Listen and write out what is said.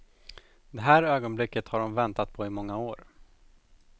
Det här ögonblicket har hon väntat på i många år.